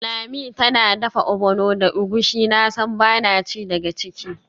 Lami tana dafa ogbono da egusi, nasan bana ci daga ciki.